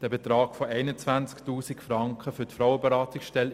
Der Betrag von 21 000 Franken für die Frauenberatungsstelle